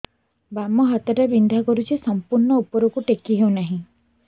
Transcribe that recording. ବାମ ହାତ ଟା ବିନ୍ଧା କରୁଛି ସମ୍ପୂର୍ଣ ଉପରକୁ ଟେକି ହୋଉନାହିଁ